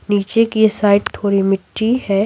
नीचे की साइड थोड़ी मिट्टी है।